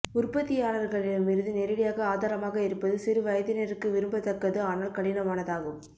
உற்பத்தியாளர்களிடமிருந்து நேரடியாக ஆதாரமாக இருப்பது சிறு வயதினருக்கு விரும்பத்தக்கது ஆனால் கடினமானதாகும்